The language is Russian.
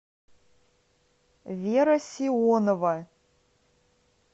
вера сионова